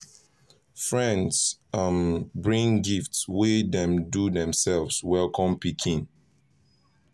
friends um bring gift wey dem do themselves welcome pikin